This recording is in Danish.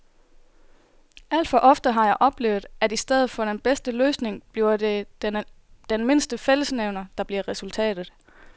Alt for ofte har jeg oplevet, at i stedet for den bedste løsning bliver det den mindste fællesnævner, der bliver resultatet.